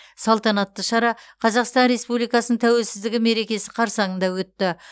салтанатты шара қазақстан республикасының тәуелсіздігі мерекесі қарсаңында өтті